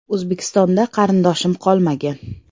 O‘zbekistonda qarindoshim qolmagan.